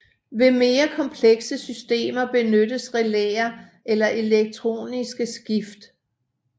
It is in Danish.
Ved mere komplekse systemer benyttes relæer eller elektroniske skift